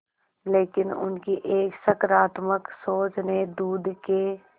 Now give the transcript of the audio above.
लेकिन उनकी एक सकरात्मक सोच ने दूध के